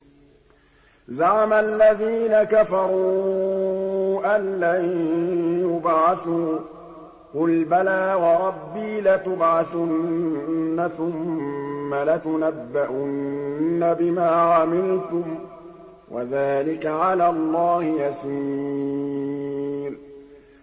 زَعَمَ الَّذِينَ كَفَرُوا أَن لَّن يُبْعَثُوا ۚ قُلْ بَلَىٰ وَرَبِّي لَتُبْعَثُنَّ ثُمَّ لَتُنَبَّؤُنَّ بِمَا عَمِلْتُمْ ۚ وَذَٰلِكَ عَلَى اللَّهِ يَسِيرٌ